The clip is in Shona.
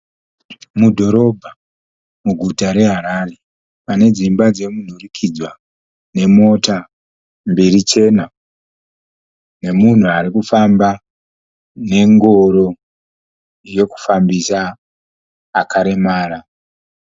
Mudhorobha muguta reHarare pane dzimba dzomunhurikidzwa nemota mbiri chena nemunhu ari kufamba nengoro yekufambisa akaremara.